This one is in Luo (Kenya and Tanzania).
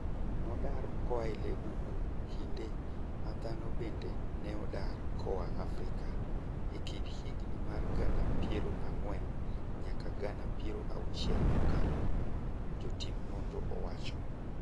nodar koae lee bungu kinde ma dhano bende neodar koa Afrika, ekind higa mar gana piero ang'wen nyaka gana piero auchiel mokalo, jotimnonro owacho